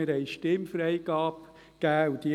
Wir haben Stimmfreigabe beschlossen.